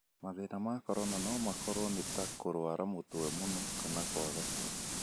Mathĩna ma corona no makorwo nĩ ta kũrũara mũtwe mũno na kwaga toro.